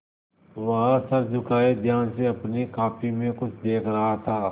वह सर झुकाये ध्यान से अपनी कॉपी में कुछ देख रहा था